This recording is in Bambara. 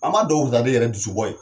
An ma dɔw yɛrɛ dusubɔ ye